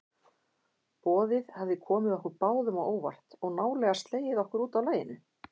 Boðið hafði komið okkur báðum á óvart og nálega slegið okkur útaf laginu.